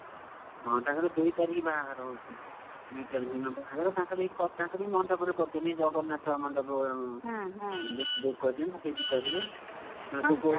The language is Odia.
ହଁ ତାଙ୍କର ଦୁଇ ତାରିଖ ବାହାଘର ହଉଛି, ଦୁଇ ତାରିଖ୍ ଦିନ ବାହାଘର, ତାଙ୍କର ଏଇଠି ତାଙ୍କର ବି ମଣ୍ଡପରେ କରୁଛନ୍ତି, ଜଗନ୍ନାଥ ମଣ୍ଡପ book କରିଛନ୍ତି ସେଇଠି କରିବେ।